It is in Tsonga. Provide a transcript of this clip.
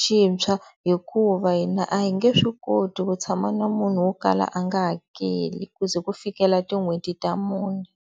xintshwa hikuva hina a hi nge swi koti ku tshama na munhu wo kala a nga hakeli ku ze ku fikela tin'hweti ta mune.